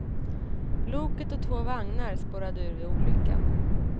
Loket och två vagnar spårade ur vid olyckan.